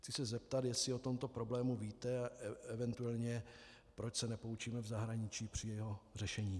Chci se zeptat, jestli o tomto problému víte a eventuálně proč se nepoučíme v zahraničí při jeho řešení.